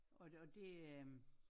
Og det det øh